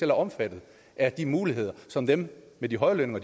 er omfattet af de muligheder som dem med de høje lønninger